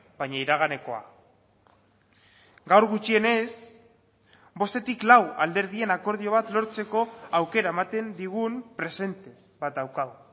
baina iraganekoa gaur gutxienez bostetik lau alderdien akordio bat lortzeko aukera ematen digun presente bat daukagu